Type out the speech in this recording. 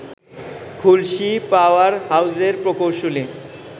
খুলশী power হাউজের প্রকৌশলী